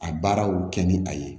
A baaraw kɛ ni a ye